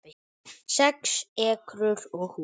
Sex ekrur og hús